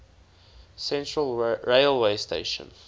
central railway station